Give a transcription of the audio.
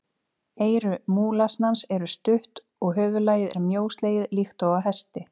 Eyru múlasnans eru stutt og höfuðlagið er mjóslegið líkt og á hesti.